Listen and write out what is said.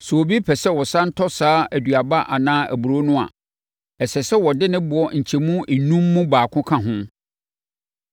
Sɛ obi pɛ sɛ ɔsane tɔ saa aduaba anaa aburoo no a, ɛsɛ sɛ ɔde ne boɔ nkyɛmu enum mu baako ka ho.